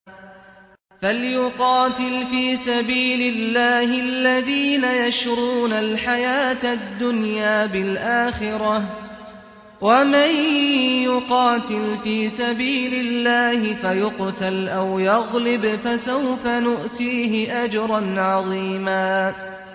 ۞ فَلْيُقَاتِلْ فِي سَبِيلِ اللَّهِ الَّذِينَ يَشْرُونَ الْحَيَاةَ الدُّنْيَا بِالْآخِرَةِ ۚ وَمَن يُقَاتِلْ فِي سَبِيلِ اللَّهِ فَيُقْتَلْ أَوْ يَغْلِبْ فَسَوْفَ نُؤْتِيهِ أَجْرًا عَظِيمًا